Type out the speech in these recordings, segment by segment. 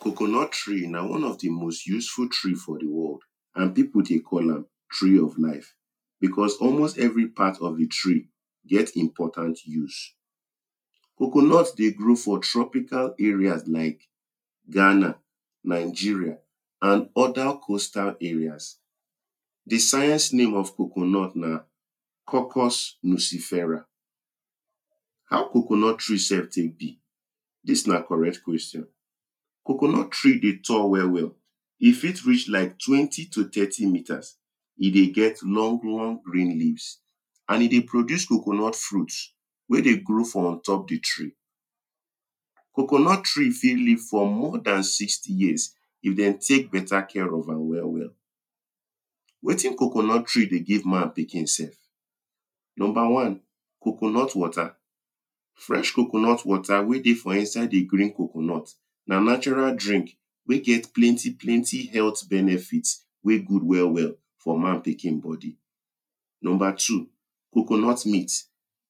coconut tree na one of the of the most useful tree for the world. and people dey call am tree of life because almost every part of the tree get important use coconut dey grow for tropical areas like Ghana, Nigeria and oda costal areas the science name of coconut na Cocos nucifera. how coconut trees sef take be? this na correct question coconut tree dey tall well well e fit reach like twenty to thirty meters, e dey get long long green leaves an e dey produce coconut fruits wey dey grow for ontop the tree coconut tree fit live for more than sixty years, if dem take beta care of am well well wetin coconut tree dey give man pikin sef. number one, coconut water fresh coconut water wey dey for inside the green coconut na natural drink wey get plenty plenty health benefits wey good well well for man pikinbody number two coconut meat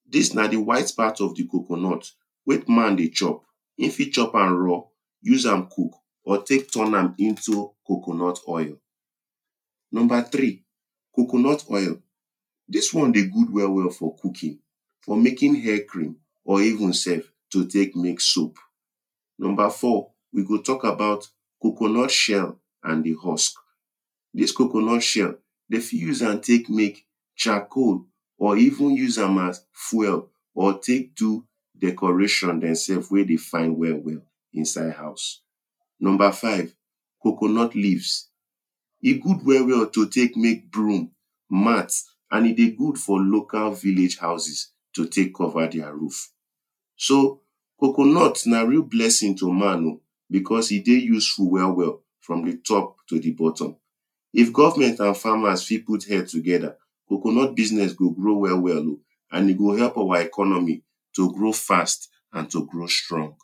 this na the white part of the coconut wey man dey chop. him fit chop am raw use am cook or take turn am into coconut oil. no three coconut oil this one dey good well well for cooking for making hair cream or even sef to take make soap. no four we go talk about coconut shell and the husk. this coconut shell they fit use am take make chacoal or even use am as fwel or take do decorations demsefs wey dey fine well well inside house. no. five coconut leaves e good well well to take make broom mat an e dey good for local vilage houses to take cover their roof so coconut na real blessing to man oh beause e dey useful well well from the top to the bottom if govment and farmers fi put head togeda coconut business go grow well well an e go help our economy to grow fast and to grow strong